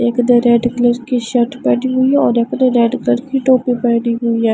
एक ने red colour की शर्ट पहनी हुई और एक ने रेड कलर की टोपी पेहनी हुई है।